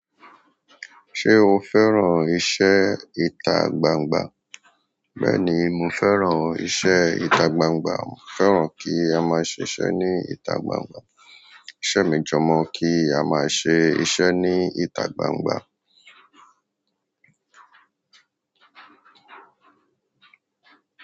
Ṣé o fẹ́ran iṣẹ́ ìta gbangba? Bẹ́ẹ̀ni, mo fẹ́ràn iṣẹ́ ìta gbangba. Mo fẹ́ràn kí a máa ṣise ní ìta gbangba. Iṣẹ́ mi jo mo kí a má ṣe iṣẹ́ ní ìta gbangba.